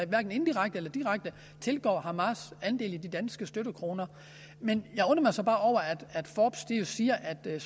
hverken indirekte eller direkte tilgår hamas andel i de danske støttekroner men jeg undrer mig så bare over at forbes jo siger at det